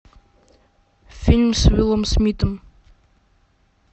фильм с уиллом смитом